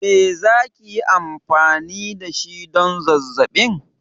Me za ki yi amfani da shi don zazzabin?